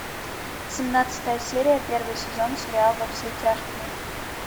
семнадцатая серия первый сезон сериал во все тяжкие